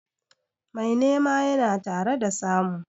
Mai nema yana tare da samu.